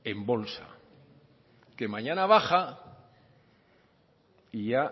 en bolsa que mañana baja y ya